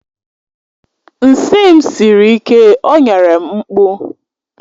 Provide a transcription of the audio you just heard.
Nsị m siri ike o nyere m mkpụ